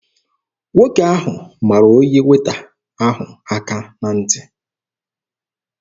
Nwoke ahụ mara onye Weeta ahụ aka na ntị.